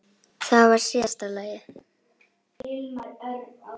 Það var síðasta lagið.